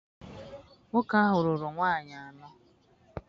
Nwoke ahụ lụrụ nwaanyị anọ.